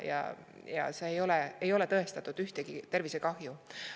ei ole tõestatud ühtegi tervisekahju.